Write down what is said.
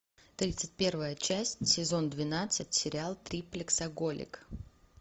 тридцать первая часть сезон двенадцать сериал триплексоголик